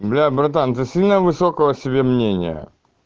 бля братан ты сильно высокого о себе мнения